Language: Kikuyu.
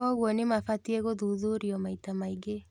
Kwoguo nĩmafatie gũthuthurio maita maingĩ